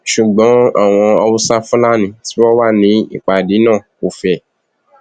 ṣùgbọn àwọn hausa-fulani tí wọn wà nípàdé náà kò fẹ